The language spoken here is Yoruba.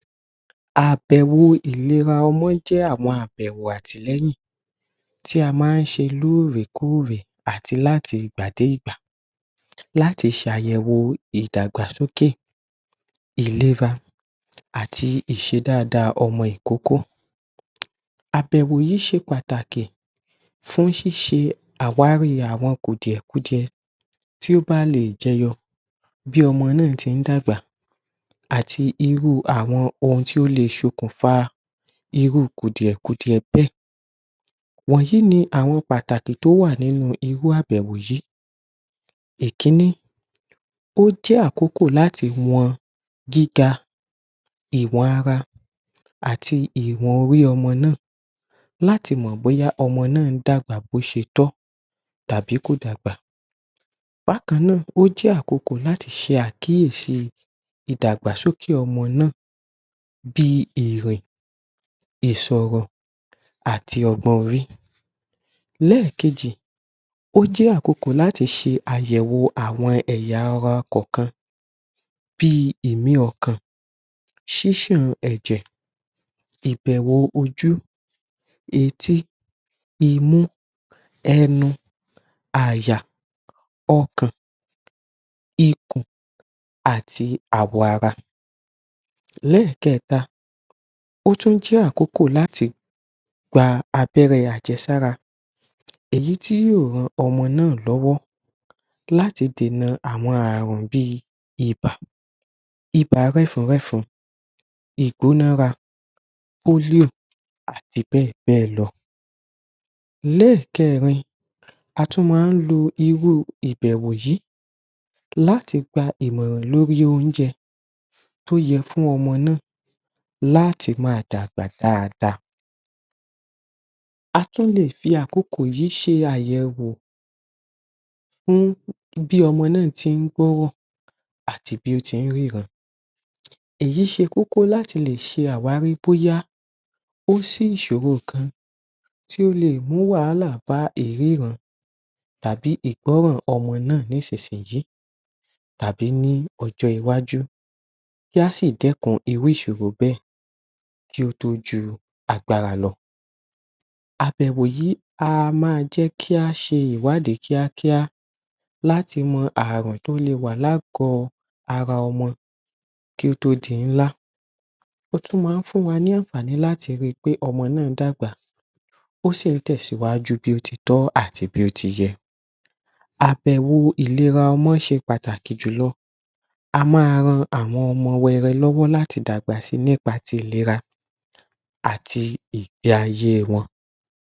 Àbẹ̀wò ìlera ọmọ jẹ́ àwọn àbẹ̀wò àtìlẹ́yìn tí a máa ṣe lóòrèkóòrè àti láti ìgbà dégbà láti ṣe àyẹ̀wò ìdàgbàsókè ìlera àti ìṣe dáadáa ọmọ ìkókó. Àbẹ̀wò yìí ṣe pàtàkì fún ṣíṣe àwárí àwọn kùdìẹ̀ kudiẹ tí ó bá lè jẹ yọ bí ọmọ náà tí dàgbà àti irú àwọn ohun tí ó lè ṣokùnfà irú kùdìẹ̀ kudiẹ bẹ́ẹ̀. Wọ̀nyí ni àwọn pàtàkì tó wà nínú irú àbẹ̀wò yìí. Ìkíní. Ó jẹ́ àkókò láti wọ̀n gíga ìwọ̀n ara àti ìwọ̀n orí ọmọ náà, láti mọ bóyá ọmọ náà dàgbà bí ó ṣe tọ́ tàbí kò dàgbà. Bákan náà, ó jẹ́ àkókò láti ṣe àkíyèsí ìdàgbàsókè ọmọ náà bí ìrìn, ìsọ̀rọ̀ àti ọgbọ́n orí. Lẹ́ẹ̀kejì, ó jẹ́ àkókò láti ṣe àyẹ̀wò àwọn ẹ̀yà ara kọ̀ọ̀kan bí ìmí ọkàn, ṣíṣàn ẹ̀jẹ̀, ìbẹ̀wò ojú, etí, imú, ẹnu, àyà, ọkàn, ikùn àti àwọ̀ ara. Lẹ́ẹ̀kẹta Ó tún jẹ́ àkókò láti gbà abẹ́rẹ́ àjẹsára èyí tí yóò ràn ọmọ náà lọ́wọ́ láti dènà àwọn àrùn bí ìbà, ìbà rẹ́fun rẹ́fun, ìgbónára, [polio] àti bẹ́ẹ̀ bẹ́ẹ̀ lọ. Lẹ́ẹ̀kẹrin, a tún máa lo irú ìbẹ̀wò yìí láti gbà ìmọ̀ràn lórí oúnjẹ tó yẹ fún ọmọ náà láti máa dàgbà dáadáa. A tún lè fi àkókò yìí ṣe àyẹ̀wò fún bí ọmọ náà tí gbọ́rọ̀ àti bí ó ti ríran. Èyí ṣe kókó láti lè ṣe àwárí bóyá kò sí ìṣòro kan tí ó lè mú wàhálà bá ìríran tàbí ìgbọ́rọ̀ ọmọ náà nísinsìnyí tàbí ní ọjọ́ iwájú kí a sì dẹ́kun irú ìṣòro bẹ́ẹ̀ kí ó tó ju agbára lọ. Àbẹ̀wò yìí a máa jẹ́ kí a ṣe ìwádìí kíákíá láti mọ àrùn tí ó lè wà ní àgọ̀ ara ọmọ kí ó tó di ńlá. Ó tún máa fún wa ní àǹfààní láti rí pé ọmọ náà dàgbà, ó sì tẹ̀síwájú bí ó títọ àti bí ó tiyẹ. Àbẹ̀wò ìlera ọmọ ṣe pàtàkì jù lọ, a máa ràn àwọn ọmọ wẹrẹ lọ́wọ́ láti dàgbà nípa ti ìlera àti ìgbé ayé wọn.